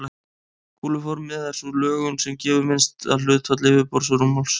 Kúluformið er sú lögun sem gefur minnsta hlutfall yfirborðs og rúmmáls.